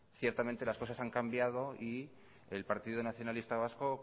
ciertamente las cosas han cambiado y el partido nacionalista vasco